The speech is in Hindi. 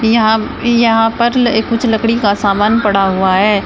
यहां यहां पर एक कुछ लकड़ी का सामान पड़ा हुआ है।